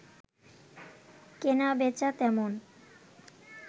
কেনা-বেচা তেমন